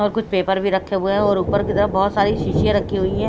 और कुछ पेपर भी रखे हुवे हैं और ऊपर की तरफ बहोत सारी शीशियाँ रखी हुवी हैं।